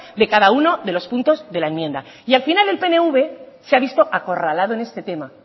de cada uno de los puntos de la enmienda y al final en pnv se ha visto acorralado en este tema